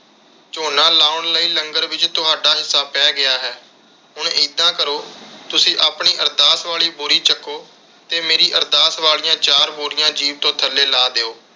ਝੋਨਾ ਲਾਉਣ ਲਈ ਲੰਗਰ ਵਿਚ ਤੁਹਾਡਾ ਹਿੱਸਾ ਪੈ ਗਿਆ ਹੈ। ਹੁਣ ਇੱਦਾਂ ਕਰੋ ਤੁਸੀਂ ਆਪਣੀ ਅਰਦਾਸ ਵਾਲੀ ਬੋਰੀ ਚਕੋ ਤੇ ਮੇਰੀ ਅਰਦਾਸ ਵਾਲੀਆਂ ਚਾਰ ਬੋਰੀਆਂ ਜੀਪ ਤੋਂ ਥੱਲੇ ਲਾਹ ਦਿਓ।